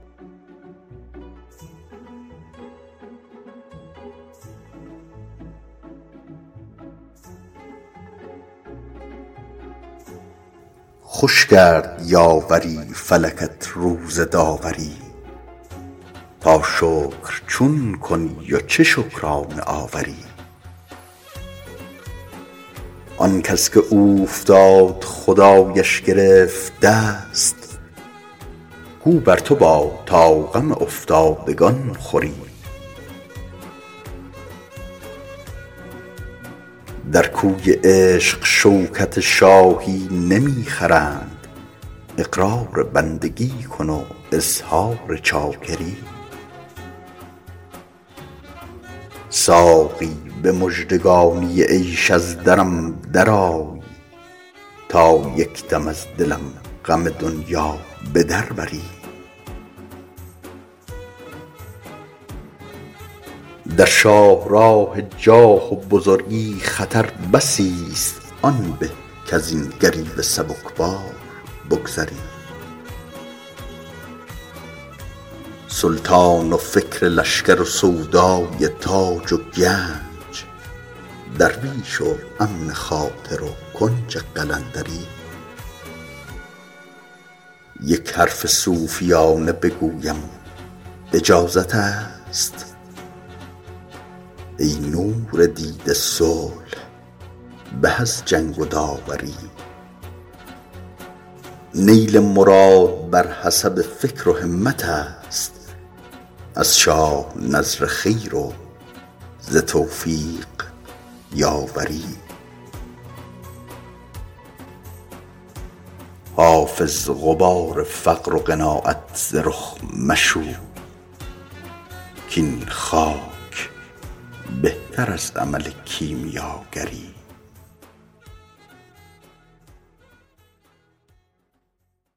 خوش کرد یاوری فلکت روز داوری تا شکر چون کنی و چه شکرانه آوری آن کس که اوفتاد خدایش گرفت دست گو بر تو باد تا غم افتادگان خوری در کوی عشق شوکت شاهی نمی خرند اقرار بندگی کن و اظهار چاکری ساقی به مژدگانی عیش از درم درآی تا یک دم از دلم غم دنیا به در بری در شاه راه جاه و بزرگی خطر بسی ست آن به کز این گریوه سبک بار بگذری سلطان و فکر لشکر و سودای تاج و گنج درویش و امن خاطر و کنج قلندری یک حرف صوفیانه بگویم اجازت است ای نور دیده صلح به از جنگ و داوری نیل مراد بر حسب فکر و همت است از شاه نذر خیر و ز توفیق یاوری حافظ غبار فقر و قناعت ز رخ مشوی کاین خاک بهتر از عمل کیمیاگری